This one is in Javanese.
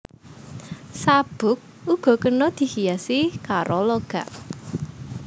Sabuk uga kena dihiasi karo logam